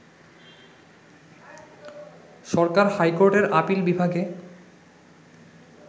সরকার হাইকোর্টের আপিল বিভাগে